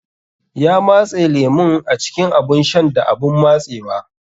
Ya matse lemun a cikin abun shan da abun matsewa.